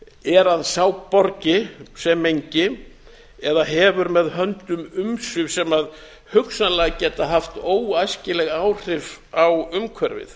er að sá borgi sem mengi eða hefur með höndum umsvif sem hugsanlega geta haft óæskileg áhrif á umhverfið